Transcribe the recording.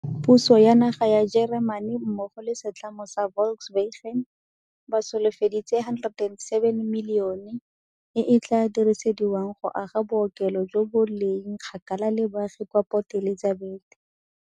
Puso ya naga ya Jeremane mmogo le setlamo sa Volkswagen ba solofeditse R107 milione e e tla dirisediwang go aga bookelo jo bo leng kgakala le baagi kwa Port Elizabeth.